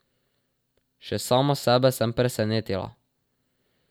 Še sama sebe sem presenetila.